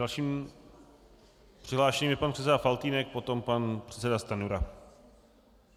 Dalším přihlášeným je pan předseda Faltýnek, potom pan předseda Stanjura.